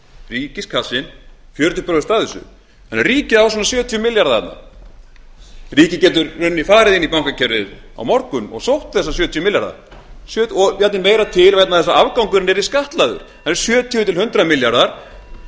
ríkiskassinn fjörutíu prósent af þessu þannig að ríkið á svona sjötíu milljarða þarna ríkið getur í rauninni farið inn í bankakerfið á morgun og sótt þessa sjötíu milljarða og jafnvel meira til vegna þess að afgangurinn yrði skattlagður það eru sjötíu til hundrað milljarðar við skulum